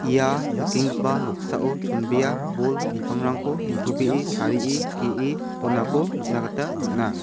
ia nikenggipa noksao chonbea bol bipangrangko nitobee tarie ge·e donako nikna gita man·a.